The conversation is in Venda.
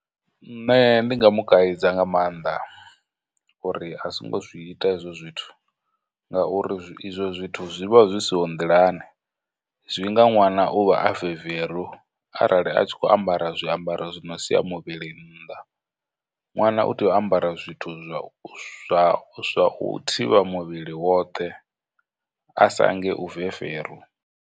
Nṋe ndi nga mu kaidza nga maanḓa uri a songo zwi ita hezwo zwithu, ngauri izwo zwithu zwivha zwi siho nḓilani, zwi nga ṅwana u vha a veveru arali a tshi khou ambara zwiambaro zwi no sia muvhili nnḓa, ṅwana u tea u ambara zwithu zwa u zwa u thivha muvhili woṱhe, a sa nge u veveru.